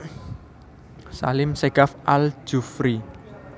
Salim Segaf Al Jufri